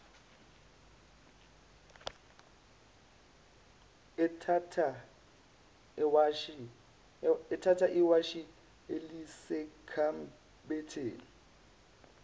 ethatha iwashi elisekhabetheni